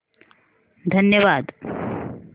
धन्यवाद